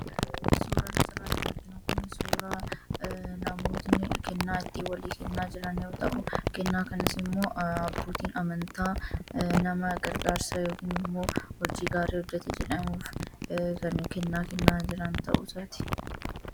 Suuraan asitti argitan kun suuraa namoonni kennaa itti walii kennaa jiran yoo ta'u, kennaa kanas immoo abbootiin amantaa nama gargaarsa yookiin immoo hojii gaarii hojjachuu gatii jedhamuuf kan kennaa kennan ta'uusaati.